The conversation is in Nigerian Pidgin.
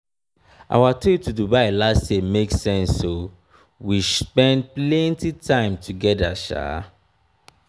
our trip to dubai last year make sense o we spend plenty time togeda.